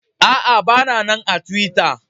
Aa, ba na nan a tiwitta.